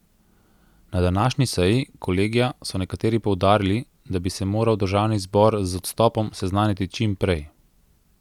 Na današnji seji kolegija so nekateri poudarili, da bi se moral državni zbor z odstopom seznaniti čim prej.